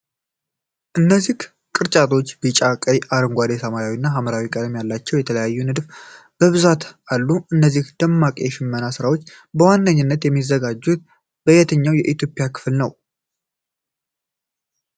እነዚህ ቅርጫቶች ቢጫ፣ ቀይ፣ አረንጓዴ፣ ሰማያዊ እና ሐምራዊ ቀለሞች ያሏቸው የተለያዩ ንድፎች በብዛት አሉ። እነዚህ ደማቅ የሽመና ሥራዎች በዋነኝነት የሚዘጋጁት በየትኛው የኢትዮጵያ ክፍል ነው?